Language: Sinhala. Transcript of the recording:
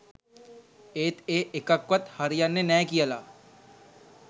ඒත් ඒ එකක්වත් හරියන්නෙ නෑ කියලා